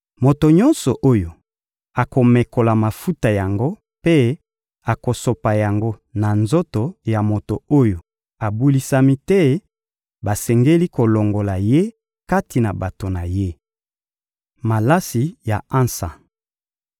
Moto nyonso oyo akomekola mafuta yango mpe akosopa yango na nzoto ya moto oyo abulisami te, basengeli kolongola ye kati na bato na ye.» Malasi ya ansa